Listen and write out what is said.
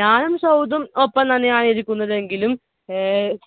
ഞാനും സൗദും ഒപ്പം തന്നെയാണ് ഇരിക്കുന്നതെങ്കിലും